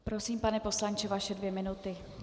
Prosím, pane poslanče, vaše dvě minuty.